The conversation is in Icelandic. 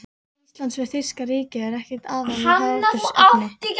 Íslands við þýska ríkið, er ekkert aðhlátursefni.